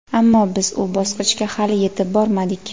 ammo biz u bosqichga hali yetib bormadik.